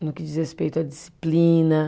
no que diz respeito à disciplina.